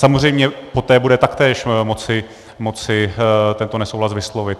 Samozřejmě poté bude taktéž moci tento nesouhlas vyslovit.